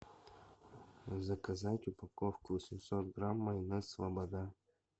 заказать упаковку восемьсот грамм майонез слобода